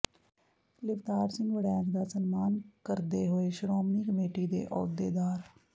ਲਿਵਤਾਰ ਸਿੰਘ ਵੜੈਚ ਦਾ ਸਨਮਾਨ ਕਾਰਦੇ ਹੋਏ ਸ਼੍ਰੋਮਣੀ ਕਮੇਟੀ ਦੇ ਅਹੁਦੇਦਾਰ